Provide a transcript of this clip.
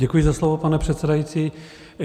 Děkuji za slovo, pane předsedající.